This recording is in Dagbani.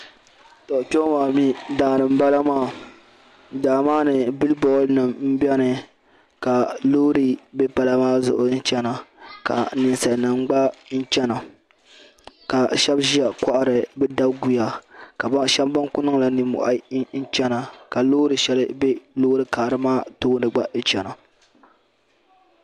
Kpeŋɔ maa mi daani n bala maa, daa maa ni bilibɔad nim beni ka lɔɔri be pala maa zuɣu n chana ka ninsalinima gba chana, ka shabi ʒiya n kohiri bɛ daguya ka paɣa shabi ban ku niŋla nimmohi. n chana ka lɔɔri shɛli gba be lɔɔri karili maa tooni n chana ,